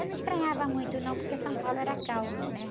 Eu não estranhava muito, não, porque São Paulo era calmo, né?